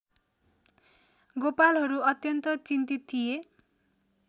गोपालहरू अत्यन्त चिन्तित थिए